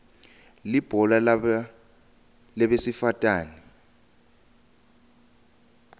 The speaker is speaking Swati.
ibhola labesifatane